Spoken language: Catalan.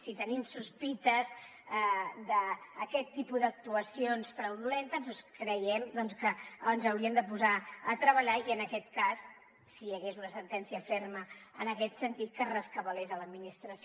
si tenim sospites d’aquest tipus d’actuacions fraudulentes doncs creiem que ens hauríem de posar a treballar i en aquest cas si hi hagués una sentència ferma en aquest sentit que en rescabalés l’administració